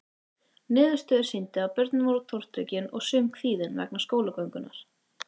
Niðurstöður sýndu að börnin voru tortryggin og sum kvíðin vegna skólagöngunnar.